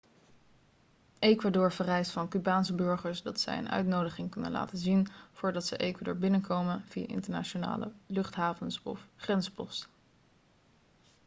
ecuador vereist van cubaanse burgers dat zij een uitnodiging kunnen laten zien voordat ze ecuador binnenkomen via internationale luchthavens of grensposten